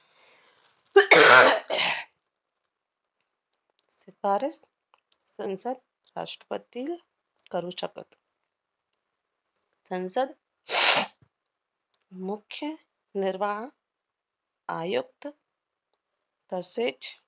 शिफारस संसद राष्ट्रपतील करू शकत. संसद मुख्य निर्वाह आयुक्त तसेच